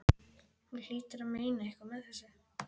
Hún hlýtur að meina eitthvað með þessu!